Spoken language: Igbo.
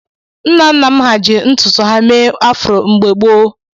Nna nna m hà ji ntutu ha mee afro mgbe gboo.